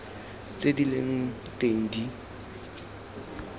tse di leng teng di